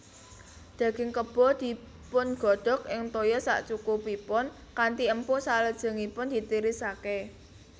Daging Kebo dipungodhog ing toya sakcukupipun kanthi empuk salajengipun ditirisake